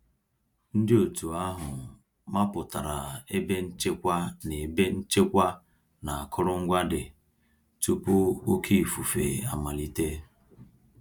Ndị òtù ahụ mapụtara ebe nchekwa na ebe nchekwa na akụrụngwa dị, tupu oké ifufe amalite